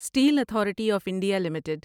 steel authority of India limited